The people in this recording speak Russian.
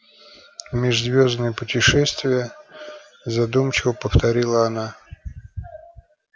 межзвёздные путешествия задумчиво повторила она